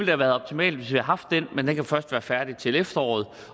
have været optimalt hvis vi havde haft den men den kan først være færdig til efteråret